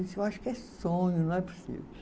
Disse, eu acho que é sonho, não é possível.